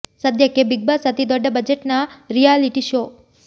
ಸದ್ಯಕ್ಕೆ Bigg Boss ಅತಿ ದೊಡ್ಡ ಬಜೆಟ್ ನ ರಿಯಾಲಿಟಿ ಶೋ